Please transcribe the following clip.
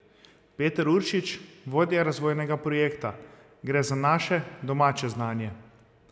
Peter Uršič, vodja razvojnega projekta: "Gre za naše, domače znanje.